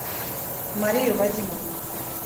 марию вадимовну